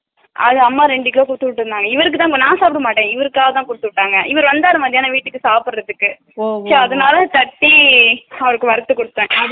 அதுல அம்மா ரெண்டு கிலோ குடுதுவிட்டுமா இவருகுதாமா நா சாப்பிடமாட்டேன் இவருக்காக தான் குடுத்து விட்டாங்க, இவரு வந்தாரு மத்தியானம் வந்தாரு வீட்டுக்கு சாப்பிடறதுக்கு so அதனால தட்டி அவருக்கு வறுத்து குடுத்தே